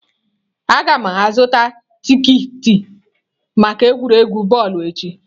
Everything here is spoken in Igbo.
Aga m azụta tiketi maka egwuregwu bọọlụ echi.